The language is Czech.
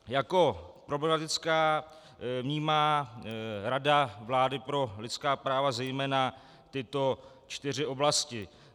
Jako problematické vnímá Rada vlády pro lidská práva zejména tyto čtyři oblasti: